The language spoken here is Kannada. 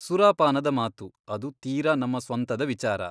ಸುರಾಪಾನದ ಮಾತು ಅದು ತೀರ ನಮ್ಮ ಸ್ವಂತದ ವಿಚಾರ.